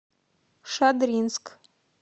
шадринск